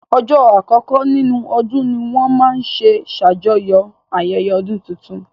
Ọjọ́ àkọkọ́ nínú ọdún ní wọ́n máa n ṣe ṣàjọyọ̀ ayẹyẹ ọdún tuntun